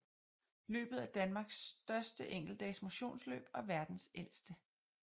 Løbet er Danmarks største enkeltdags motionsløb og verdens ældste